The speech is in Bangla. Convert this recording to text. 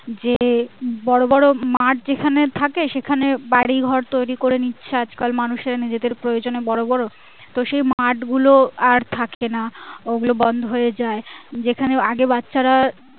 যে বড় বড় মাঠ যেখানে থাকে সেখানে বাড়ি ঘর তৈরী করে নিচ্ছে আজকাল মানুষে নিজেদের প্রয়োজনে বড়ো বড়ো তো সেই মাঠ গুলো আর থাকে না ওগুলো বন্ধ হয়ে যাই যেখানে আগে বাচ্চারা